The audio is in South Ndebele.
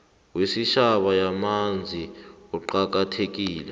wesitjhaba wamanzi uqakathekile